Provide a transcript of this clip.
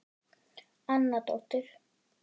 Anna dóttir